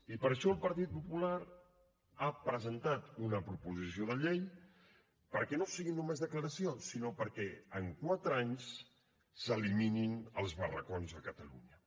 i per això el partit popular ha presentat una proposició de llei perquè no siguin només declaracions sinó perquè en quatre anys s’eliminin els barracons a catalunya